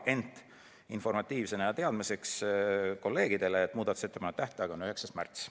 Ent teadmiseks kolleegidele olgu öeldud, et muudatusettepanekute tähtaeg on 9. märts.